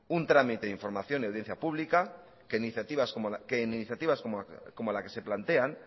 un trámite de información de audiencia pública que en iniciativas como la que se plantean